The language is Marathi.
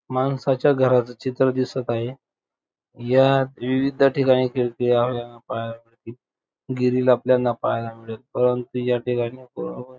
माणसांच्या घराच चित्र दिसत आहे या विविध ठिकाणी पहायला मिळतील ग्रिल आपल्याला पाहायला मिळेल परंतु या ठिकाणी --